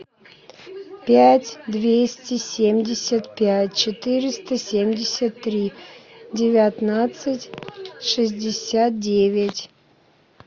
пять двести семьдесят пять четыреста семьдесят три девятнадцать шестьдесят девять